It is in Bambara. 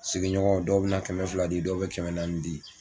Sigiɲɔgɔn dɔw bɛ na kɛmɛ fila di dɔw bɛ kɛmɛ naani di